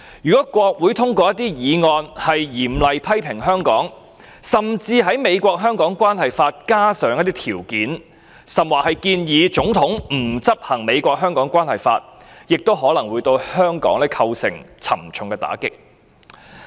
如果國會通過一些議案嚴厲批評香港，甚至在《美國―香港政策法》加入條件，甚或建議總統不執行《美國―香港政策法》，可能會對香港構成沉重的打擊。